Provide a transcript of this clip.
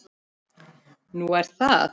Nú, er það?